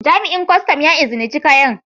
Jami'in Kwastam ya izinice kayan.